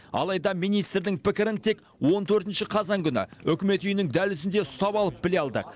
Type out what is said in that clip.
алайда министрдің пікірін тек он төртінші қазан күні үкімет үйінің дәлізінде ұстап алып біле алдық